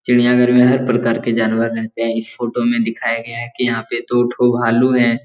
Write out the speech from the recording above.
चिड़िया घर में हर प्रकार के जानवर रहते हैं इस फोटो में दिखाया गया है की यहां पे दो ठो भालू हैं।